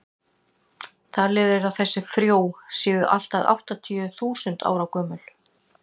talið er að þessi frjó séu allt að áttatíu þúsund ára gömul